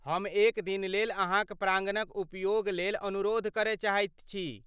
हम एक दिनलेल अहाँक प्राङ्गणक उपयोगलेल अनुरोध करय चाहैत छी।